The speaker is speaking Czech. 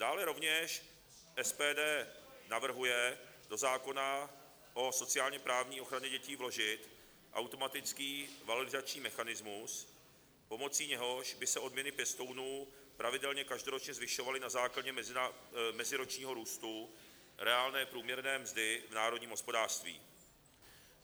Dále rovněž SPD navrhuje do zákona o sociálně-právní ochraně dětí vložit automatický valorizační mechanismus, pomocí něhož by se odměny pěstounů pravidelně každoročně zvyšovaly na základě meziročního růstu reálné průměrné mzdy v národním hospodářství.